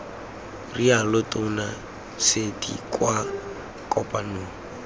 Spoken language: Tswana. rialo tona surty kwa kopanong